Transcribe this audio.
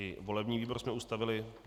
I volební výbor jsme ustavili.